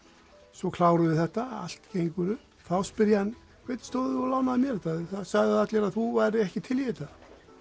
svo klárum við þetta allt gengur upp þá spyr ég hann hvernig stóð þú lánaðir mér þetta það sögðu allir að þú værir ekki til í þetta